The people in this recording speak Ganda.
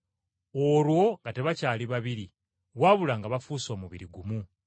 Olwo nga tebakyali babiri, wabula nga bafuuse omubiri gumu.